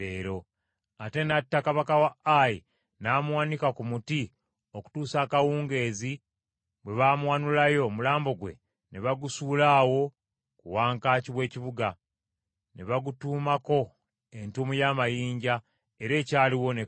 Ate n’atta kabaka wa Ayi n’amuwanika ku muti okutuusa akawungeezi lwe baawanulayo omulambo gwe ne bagusuula awo ku wankaaki w’ekibuga ne bagutuumako entuumu y’amayinja era ekyaliyo ne kaakano.